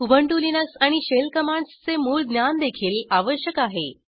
Ubuntu Linux आणि shell commands चे मूळ ज्ञानदेखील आवश्यक आहे